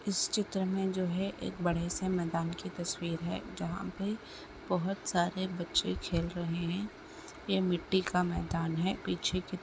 इस चित्र में जो है एक बड़े से मैदान के तस्वीर है जहा पे बहोत सारे बच्चे खेल रहे हैं ये मिट्टी का मैदान है पीछे --